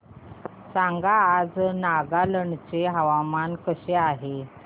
सांगा आज नागालँड चे हवामान कसे आहे